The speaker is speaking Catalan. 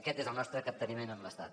aquest és el nostre capteniment amb l’estat